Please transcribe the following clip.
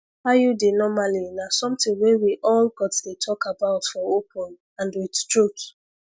iud normally na something wey we all gats dey talk about for open and with truth